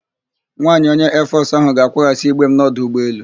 Nwaanyị onye Eefọsụ ahụ ga-akwaghasị igbe m n'ọdụ ụgbọelu.